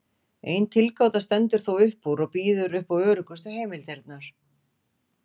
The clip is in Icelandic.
Ein tilgáta stendur þó upp úr og býður upp á öruggustu heimildirnar.